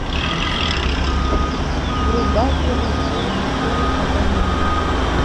врубай киношку никколо паганини